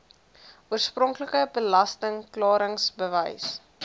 oorspronklike belasting klaringsbewys